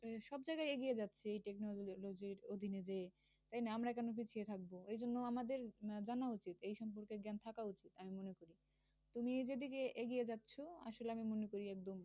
সব জায়গায় এগিয়ে যাচ্ছে এই technology অধীনে যেয়ে। তাহলে আমরা কেন পিছিয়ে থাকব? সেজন্য আমাদের জানা উচিত এই সম্পর্কে জ্ঞান থাকা উচিত আমি মনে করি। তুমি যে দিকে এগিয়ে যাচ্ছে আসলে আমি মনে করি একদম